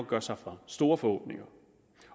gøre sig for store forhåbninger